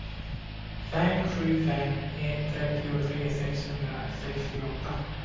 fem sju fem ett trettiotre sexhundrasextioåtta